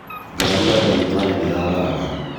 ngari ya ndagĩtarĩ nĩyagaragara